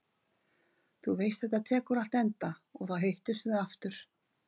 Þú veist að þetta tekur allt enda og þá hittumst við aftur.